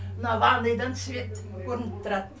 мына ванныйдан свет көрініп тұрады